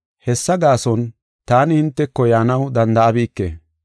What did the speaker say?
Hessa gaason, taani hinteko yaanaw danda7abike.